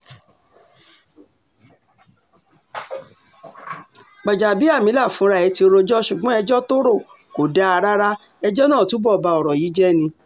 gbanábíàmílà fúnra ẹ̀ ti rojọ́ ṣùgbọ́n ẹjọ́ tó rọ̀ kò dáa rárá ẹjọ́ náà túbọ̀ ba ọ̀rọ̀ yìí jẹ́ ni